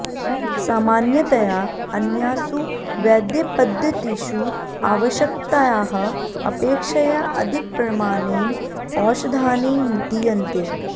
सामान्यतया अन्यासु वैद्यपद्धतीषु आवश्यकतायाः अपेक्षया अधिकप्रमाणेन औषधानि दीयन्ते